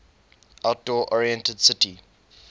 outdoor oriented city